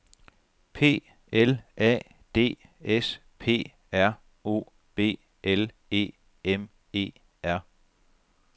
P L A D S P R O B L E M E R